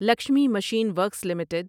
Lakshmi machine works limited